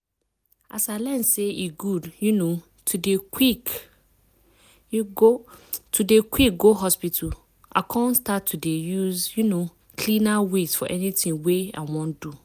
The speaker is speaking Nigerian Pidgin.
as i learn say e good um to dey quick um go hospital i come start to dey use um cleaner ways for anything wey i wan do.